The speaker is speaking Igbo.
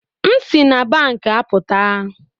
M si na banki apụta